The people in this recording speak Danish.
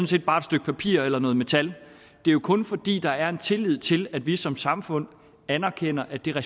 set bare et stykke papir eller noget metal det er jo kun fordi der er en tillid til at vi som samfund anerkender at det har